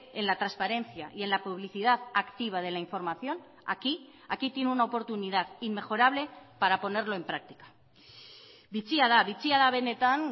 en la transparencia y en la publicidad activa de la información aquí aquí tiene una oportunidad inmejorable para ponerlo en práctica bitxia da bitxia da benetan